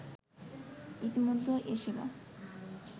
ইতিমধ্যে এ সেবা